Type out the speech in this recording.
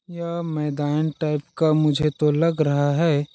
यह मैदान टाइप का मुझे तो लग रहा है। .